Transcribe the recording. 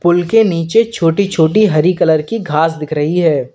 पुल के नीचे छोटी छोटी हरी कलर की घास दिख रही है।